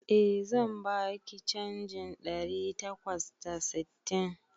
Eh, zan baki canjin ɗari takwas da sittin